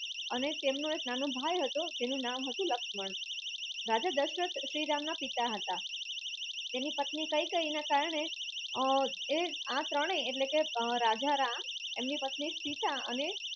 અને તેમનો એક નાનો ભાઈ હતો એમનું નામ હતું લક્ષ્મણ રાજા દશરથ શ્રી રામના પિતા હતા તેમની પત્ની કઈ કઈ ના કારણે અ આ ત્રણે રાજા રામ આમની પત્ની સિતા અને